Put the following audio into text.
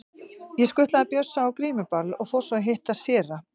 Ég skutlaði Bjössa á grímuball og fór svo að hitta séra